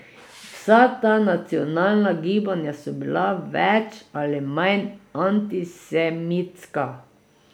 Vsa ta nacionalna gibanja so bila več ali manj antisemitska.